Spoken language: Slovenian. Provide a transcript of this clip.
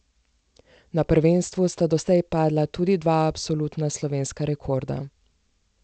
Na prvenstvu sta doslej padla tudi dva absolutna slovenska rekorda.